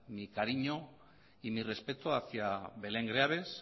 mi cariño y mi respeto hacia belén greaves